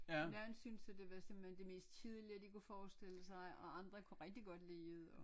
Nogen synes at det var simpelthen det mest kedelige de kunne forestille sig og andre kunne rigtig godt lide det og